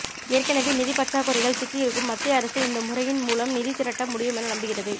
ஏற்கெனவே நிதிப் பற்றாக்குறையில் சிக்கி இருக்கும் மத்திய அரசு இந்த முறையின் மூலம் நிதி திரட்ட முடியும் என நம்புகிறது